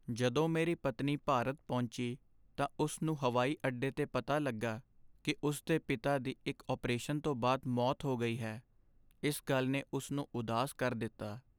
ਜਦੋਂ ਮੇਰੀ ਪਤਨੀ ਭਾਰਤ ਪਹੁੰਚੀ ਤਾਂ ਉਸ ਨੂੰ ਹਵਾਈ ਅੱਡੇ 'ਤੇ ਪਤਾ ਲੱਗਾ ਕਿ ਉਸ ਦੇ ਪਿਤਾ ਦੀ ਇੱਕ ਅਪਰੇਸ਼ਨ ਤੋਂ ਬਾਅਦ ਮੌਤ ਹੋ ਗਈ ਹੈ, ਇਸ ਗੱਲ ਨੇ ਉਸ ਨੂੰ ਉਦਾਸ ਕਰ ਦਿੱਤਾ।